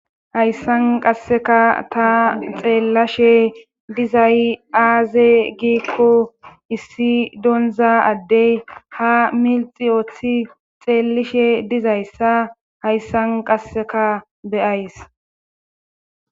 hayssan qasseka ta xeellashe dizay aaze giiqqo issi donza addey ha milxi ooththi xeellishe dizayssa hayssan qasseka beyays